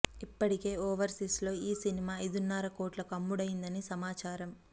ఇప్పటికే ఓవర్సీస్ లో ఈ సినిమా ఐదున్నర కోట్లకి అమ్ముడయిందని సమాచారం